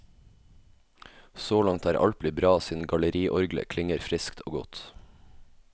Så langt er alt blitt bra siden galleriorglet klinger friskt og godt.